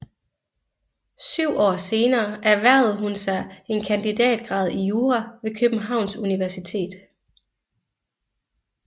Syv år senere erhvervede hun sig en kandidatgrad i jura ved Københavns Universitet